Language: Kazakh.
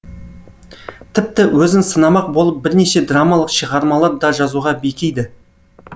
тіпті өзін сынамақ болып бірнеше драмалық шығармалар да жазуға бекиді